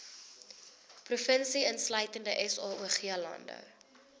provinsie insluitende saoglande